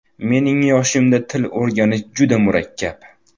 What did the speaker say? Mening yoshimda til o‘rganish juda murakkab.